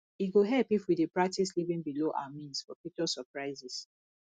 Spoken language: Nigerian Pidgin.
e go help if we dey practice living below our means for future surprises